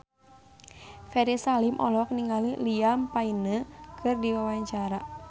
Ferry Salim olohok ningali Liam Payne keur diwawancara